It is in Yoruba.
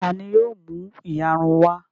Ta ni yóò mú ìyarun wá?